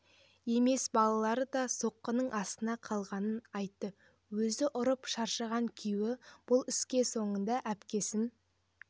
емес балалары да соққының астына қалғанын айтты өзі ұрып шаршаған күйеуі бұл іске соңғысында әпкесін